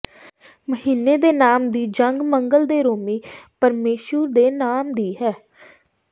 ਮਹੀਨੇ ਦੇ ਨਾਮ ਦੀ ਜੰਗ ਮੰਗਲ ਦੇ ਰੋਮੀ ਪਰਮੇਸ਼ੁਰ ਦੇ ਨਾਮ ਦੀ ਹੈ